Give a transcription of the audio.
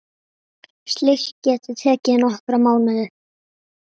Slíkt geti tekið nokkra mánuði.